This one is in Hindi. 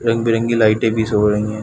रंग बिरंगी लाइटे भी शो हो रही हैं।